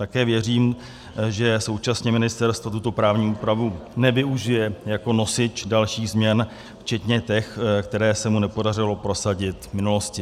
Také věřím, že současně ministerstvo tuto právní úpravu nevyužije jako nosič dalších změn včetně těch, které se mu nepodařilo prosadit v minulosti.